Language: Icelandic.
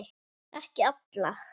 Ekki alla.